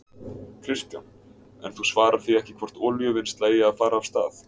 Kristján: En þú svarar því ekki hvort olíuvinnsla eigi að fara af stað?